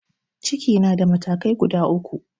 Ciki na da matakai guda uku.